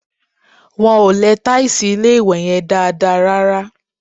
Wọ́n ò lẹ tàìsì ilé-ìwẹ̀ yẹn dáadáa rárá